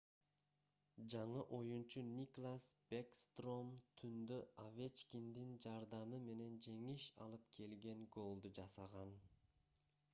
жаңы оюнчу никлас бэкстром түндө овечкиндин жардамы менен жеңиш алып келген голду жасаган